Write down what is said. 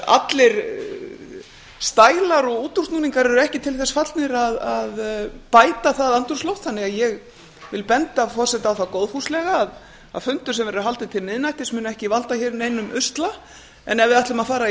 allir stælar og útúrsnúningar eru ekki til þess fallnir að bæta það andrúmsloft þannig að ég vil benda forseta á það góðfúslega að fundur sem haldinn verður til miðnættis mun ekki valda hér neinum usla ef við ætlum að fara í